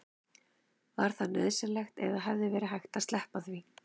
var það nauðsynlegt eða hefði verið hægt að sleppa því